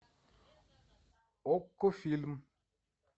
окко фильм